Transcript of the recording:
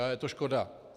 A je to škoda.